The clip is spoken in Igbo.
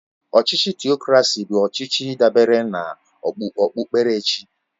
Ọchịchị Tịokracy bụ ọchịchị dabere na okpukperechi